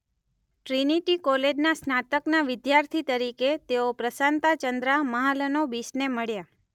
Trinity કૉલેજના સ્નાતકના વિદ્યાર્થી તરીકે તેઓ પ્રશાંતા ચંદ્રા મહાલનોબિસને મળ્યા.